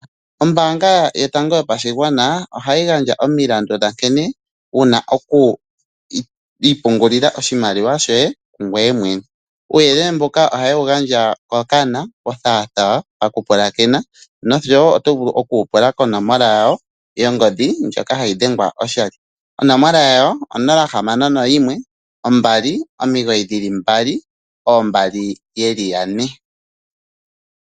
Ombaanga yotango yopashigwana ohayi gandja omilandu nkene yena oku ipungulila oshimaliwa shoye ngoye mwene . Uuyelele mboka oha yewu gandja mokana othaathaa mokupulakena noshowo oto vulu oku wupula konomola yawo yongodhi ndjoka hayi dhengwa oshali. onomola yawo 061292222